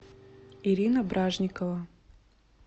ирина бражникова